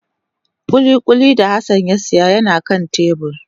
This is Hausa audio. Kulikuli da Hassan ya siya yana kan tebur